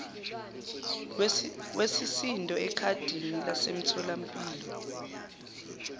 wesisindo ekhadini lasemtholampilo